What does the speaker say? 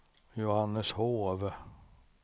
Johanneshov